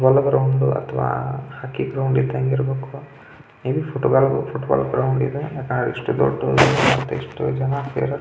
Foot ball ground ಇಲ್ಲ hockey ground ಇದ್ದಂಗೆ ಇರಬೇಕು ಇದು ಫುಟ್ ಬಾಲ್ ಗ್ರೌಂಡ್ ಯಾಕೆಂದ್ರೆ ಇಷ್ಟು ದೊಡ್ದು ಇಷ್ಟೊಂದು ಜನ ಸೇರಿದ್ದಾರೆ .